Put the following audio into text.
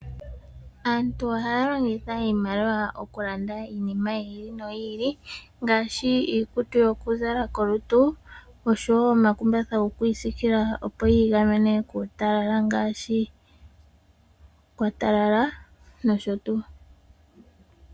Aantu ohaya longitha iimaliwa okulanda iinima yiili noyili ngaashi iikutu yokuzala kolutu oshowoo omakumbatha gokwiisikila, opo yi igamene kuutalala ngele kwatalala noshotuu.